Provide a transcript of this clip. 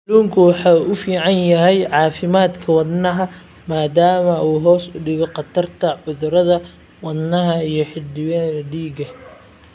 Kalluunku waxa uu u fiican yahay caafimaadka wadnaha maadaama uu hoos u dhigo khatarta cudurrada wadnaha iyo xididdada dhiigga.